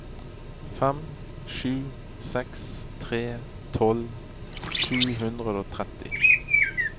fem sju seks tre tolv sju hundre og tretti